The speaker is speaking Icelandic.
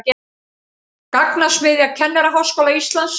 Gagnasmiðja Kennaraháskóla Íslands